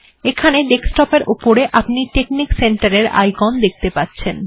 এখানে ডেস্কটপ্ এর উপরে আপনি টেকনিক্ সেন্টার এর আইকন দেখতে পাচ্ছেন